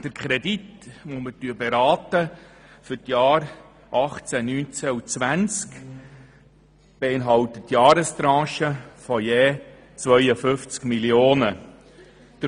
Der Kredit, den wir für die Jahre 2018–2020 beraten, beinhaltet Jahrestranchen von 52 Mio. Franken.